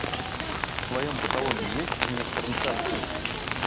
в твоем каталоге есть в некотором царстве